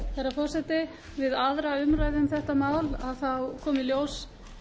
forseti við aðra umræðu um þetta mál kom í ljós